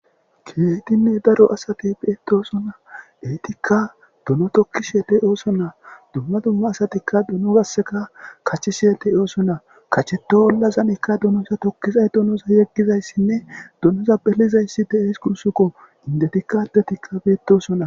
keetinne daro asati beetoosona eetikka duno tokkishe dey oosona dumma dumma asatikka duno gasseka kachi shiyete oosonna kacheto ollazanikka dunosa tokkizay dunoza yeggizayssinne dunoza belizayssi de7ees gunsukko indetikka adetikka beetosonna